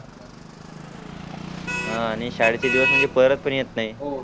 ह आणि शाळेचे दिवस म्हणजे परत पण येत नाई